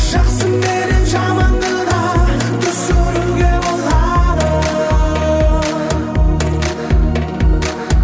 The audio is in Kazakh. жақсы менен жаманды да түсінуге болады